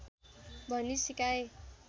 भन्ने सिकाए